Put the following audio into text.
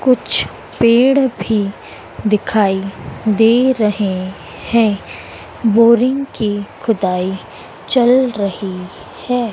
कुछ पेड़ भी दिखाइ दे रहे हैं बोरिंग की खुदाई चल रही है।